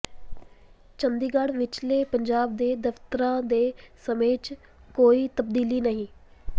ਚੰਡੀਗੜ੍ਹ ਵਿਚਲੇ ਪੰਜਾਬ ਦੇ ਦਫਤਰਾਂ ਦੇ ਸਮੇਂ ਚ ਕੋਈ ਤਬਦੀਲੀ ਨਹੀਂ